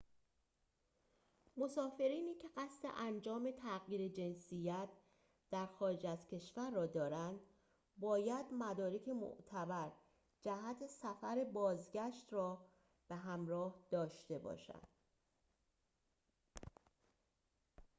مسافرینی که قصد انجام تغییر جنسیت در خارج از کشور را دارند باید مدارک معتبر جهت سفر بازگشت را به همراه داشته باشند